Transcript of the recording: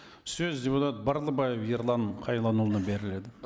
сөз депутат барлыбаев ерлан қайланұлына беріледі